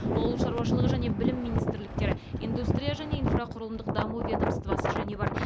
ауыл шаруашылығы және білім министрліктері индустрия және инфрақұрылымдық даму ведомствосы және бар